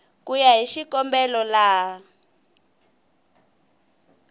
ku ya hi xikombelo laha